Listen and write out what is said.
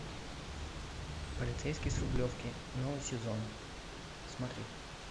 полицейский с рублевки новый сезон смотреть